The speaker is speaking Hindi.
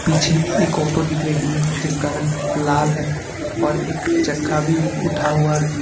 पीछे एक ऑटो दिख रही है जिसका रंग लाल है और एक चक्का भी उठा हुआ है।